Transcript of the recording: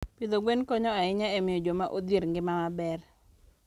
Pidho gwen konyo ahinya e miyo joma odhier ngima maber.